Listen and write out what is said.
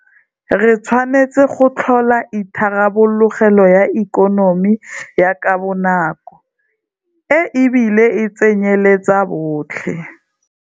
Re tshwanetse go tlhola itharabologelo ya ikonomi ya ka bonako e bile e tsenyeletsa botlhe.